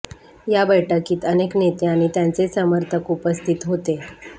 या बैठकीत अनेक नेते आणि त्यांचे समर्थक उपस्थित होते